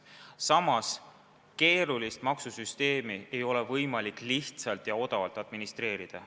Samas, keerulist maksusüsteemi ei ole võimalik lihtsalt ja odavalt administreerida.